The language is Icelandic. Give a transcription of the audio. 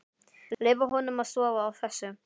Leyfa honum að sofa á þessu.